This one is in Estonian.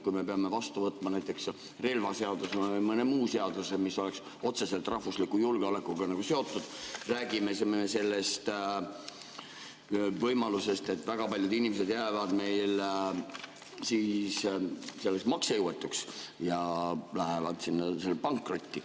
Kui me peame vastu võtma relvaseaduse või mõne muu seaduse, mis oleks otseselt rahvusliku julgeolekuga seotud, siis me räägime sellest võimalusest, et väga paljud inimesed jäävad meil maksejõuetuks ja lähevad pankrotti.